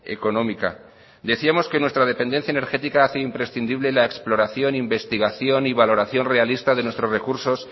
económica decíamos que nuestra dependencia energética hace imprescindible la exploración investigación y valoración realista de nuestros recursos